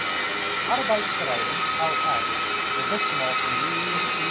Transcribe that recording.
arbeidsverhoudings lr bewusmakingsessies